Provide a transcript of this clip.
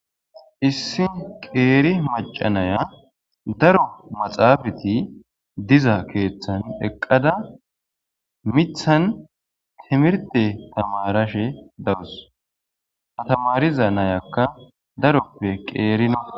Issi qeeri macanaya daro maxaafati diza keeththan eqqada mithan timirte tamarashe dawus hatamariza nayakka daroppe qeerino.